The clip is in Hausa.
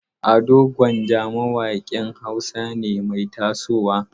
Ado Gwanja mawaƙin Hausa ne mai tasowa.